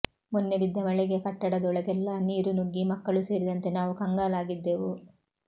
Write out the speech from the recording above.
ಮೊನ್ನೆ ಬಿದ್ದ ಮಳೆಗೆ ಕಟ್ಟಡದೊಳಗೆಲ್ಲಾ ನೀರು ನುಗ್ಗಿ ಮಕ್ಕಳು ಸೇರಿದಂತೆ ನಾವು ಕಂಗಾಲಾಗಿದ್ದೆವು